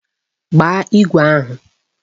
Gbaa igwe ahụ!